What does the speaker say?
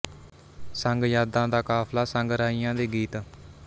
ਸੰਗ ਯਾਦਾਂ ਦਾ ਕਾਫ਼ਲਾ ਸੰਗ ਰਾਹੀਆਂ ਦੇ ਗੀਤ